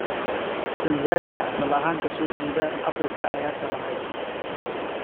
Tanzanian asal ahaan ka soo jeeda Afrika ayaa sharaxay.